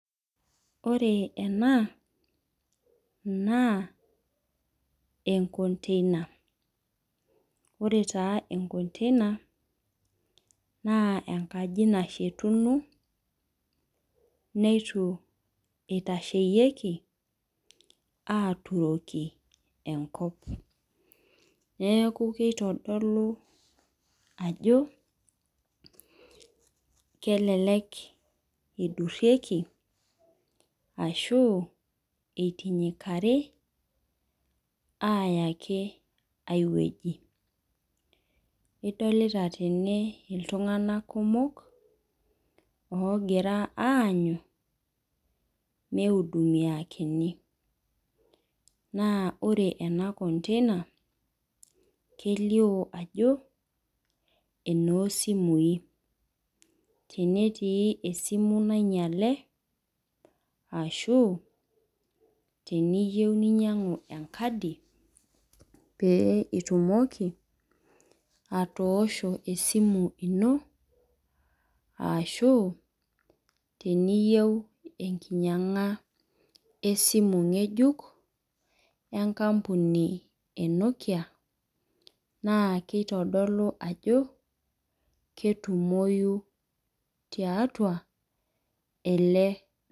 Ore ena naa ee container. Ore taa.ee container naa enkaji nashetuno neitu itaisheki aturoki enkop. Neeku kitodulu ajo kelelek idurieki ashu intinyikari aya ake ai weji. Idolita tene iltung'ana kumok ogira anyuu mei hudumia kini. Naa ore ena container kelio ajo eno simui. Tenetii esimu nainyale ashu niyeu ninyang'u enkadi pee itumoki atosho esimu ino ashu teniyou enkinyang'a esimu ng'ejuk en kampunj ee Nokia naa kitodolu ajo ketumoi tiatua ele.